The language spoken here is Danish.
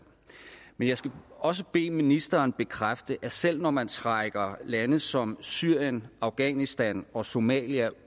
men jeg skal også bede ministeren bekræfte at selv når man trækker lande som syrien afghanistan og somalia